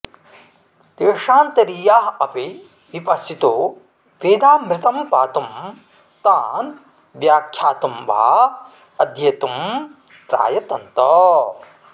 देशान्तरीयाः अपि विपश्चितो वेदामृतं पातुं तान् व्याख्यातुं वा अध्येतुं प्रायतन्त